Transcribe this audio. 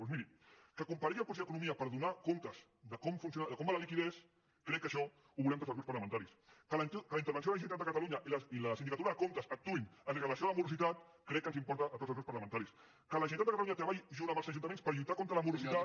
doncs miri que comparegui el conseller d’economia per donar comptes de com va la liquiditat crec que això ho volem tots els grups parlamentaris que la intervenció de la generalitat de catalunya i la sindicatura de comptes actuïn amb relació a la morositat crec que ens importa a tots els grups parlamentaris que la generalitat de catalunya treballi junt amb els ajuntaments per lluitar contra la morositat